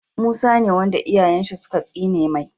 Musa ne wanda iyayen shi suka tsine mai